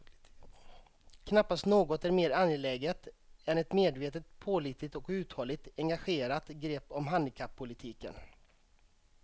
Knappast något är mer angeläget än ett medvetet, pålitligt och uthålligt engagerat grepp om handikappolitiken.